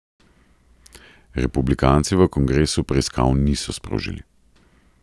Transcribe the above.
Republikanci v kongresu preiskav niso sprožili.